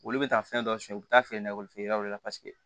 Olu bɛ taa fɛn dɔ suɲɛ u bɛ taa feerekɔli feere yɔrɔ la paseke